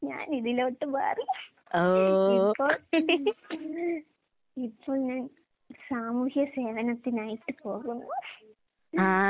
ഞാനിതിലോട്ട് മാറി. ഇപ്പൊ ഇപ്പൊ ഞാൻ സാമൂഹ്യ സേവനത്തിനായിട്ട് പോകുന്നു.